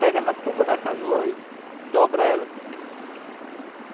Pega na pulpa da canoa e dobra ela.